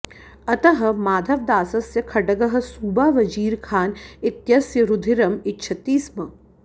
अतः माधवदासस्य खड्गः सूबा वजीर खान इत्यस्य रुधिरम् इच्छति स्म